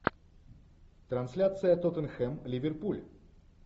трансляция тоттенхэм ливерпуль